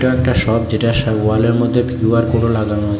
একটা শপ যেটা সা ওয়ালের মধ্যে কিউ_আর কোডও লাগানো আছে।